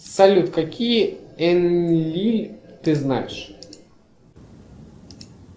салют какие н ли ты знаешь